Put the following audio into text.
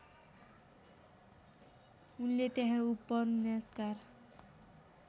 उनले त्यहाँ उपन्यासकार